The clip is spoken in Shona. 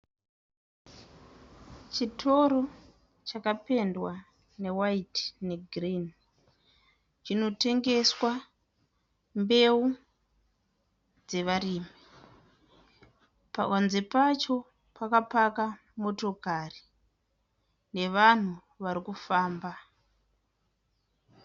Chitoro chakapendwa newaiti negirinhi, chinotengeswa mbeu dzevarimi. Panze pacho pakapaka motokari nevanhu varikufamba.